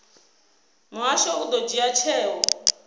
muhasho u ḓo dzhia tsheo